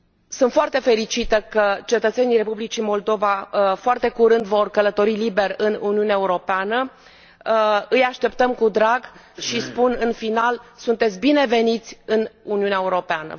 Sunt foarte fericită că cetățenii Republicii Moldova, foarte curând, vor călători liber în Uniunea Europeană, îi așteptăm cu drag și spun, în final sunteți bineveniți în Uniunea Europeană!